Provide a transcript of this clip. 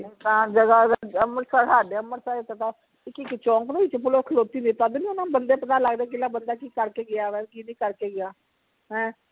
ਸੁਨਸਾਨ ਜਗਾਹ ਵਿਚ ਅੰਮ੍ਰਿਤਸਰ ਹਾਡੇ ਅੰਮ੍ਰਿਤਸਰ ਇਕ ਤਾ ਇਕ ਇਕ ਚੌਕ ਵਿਚ police ਖਲੋਤੀ ਤਦ ਨੀ ਓਹਨਾ ਨੂੰ ਬੰਦੇ ਪਤਾ ਲਗਦੇ ਕਿਹੜਾ ਬੰਦਾ ਕਿ ਕਰ ਕਿ ਗਿਆ ਵਾ ਕੀ ਨੀ ਕਰ ਕੇ ਗਿਆ ਹੈ